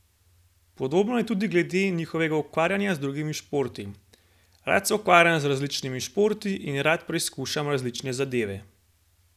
Podobno je tudi glede njegovega ukvarjanja z drugimi športi: 'Rad se ukvarjam z različnimi športi in rad preizkušam različne zadeve.